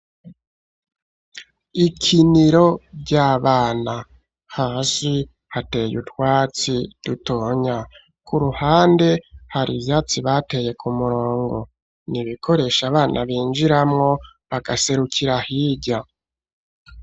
Ikiniro ry'abana, hasi hateye utwatsi dutonya; ku ruhande, hari ivyatsi bateye ku murongo; ni ibikoresho abana binjiramwo, bagaserukira hirya.